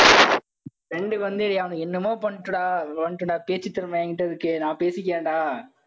friend க்கு வந்து அவன் என்னமோ பண்ணட்டும்டா பண்ணட்டும்டா பேச்சுத்திறமை என்கிட்ட இருக்கு. நான் பேசிக்கிறேன்டா.